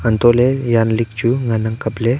antoh ley yan lig chu ngan ang kapley.